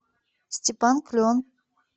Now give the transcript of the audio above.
степан клен